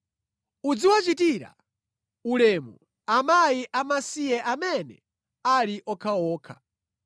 Uziwachitira ulemu akazi amasiye amene ali okhaokha.